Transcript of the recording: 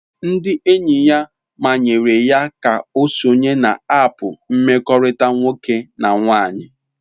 Ndị enyi ya manyere ya ka ọ sonye na aapu mkpakọrịta nwoke na nwaanyị.